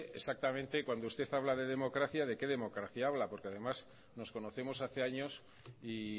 exactamente cuando usted habla de democracia de qué democracia habla porque además nos conocemos hace años y